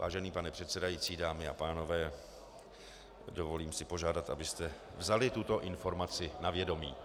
Vážený pane předsedající, dámy a pánové, dovolím si požádat, abyste vzali tuto informaci na vědomí.